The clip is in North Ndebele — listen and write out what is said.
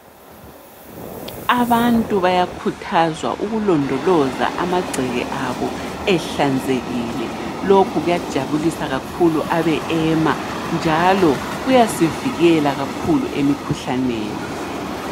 Abantu bayakhuthazwa ukulondoloza amagceke abo ehlanzekile. Lokhu kuyajabulisa kakhulu abe-EMA, njalo kuyasivikela kakhulu emikhuhlaneni.